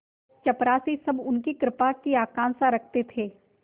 चपरासीसब उनकी कृपा की आकांक्षा रखते थे